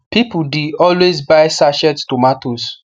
people the always buy sachet tomatoes